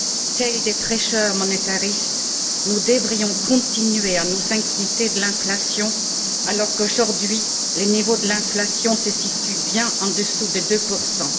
Tels des prêcheurs monétaristes, nous devrions continuer à nous inquiéter de l'inflation, alors qu'aujourd'hui, le niveau de l'inflation se situe bien au dessous de deux pour cent.